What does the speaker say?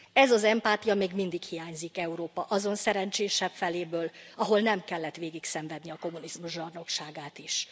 Ez az empátia még mindig hiányzik Európa azon szerencsésebb feléből, ahol nem kellett végigszenvedni a kommunizmus zsarnokságát is.